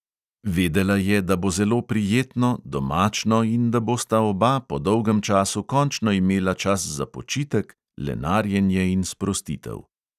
Vedela je, da bo zelo prijetno, domačno in da bosta oba po dolgem času končno imela čas za počitek, lenarjenje in sprostitev.